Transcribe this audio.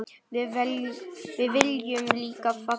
Við viljum líka fagna.